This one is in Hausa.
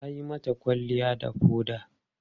Ta yi mata kwalliya da foda.